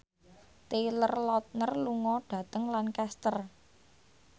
Taylor Lautner lunga dhateng Lancaster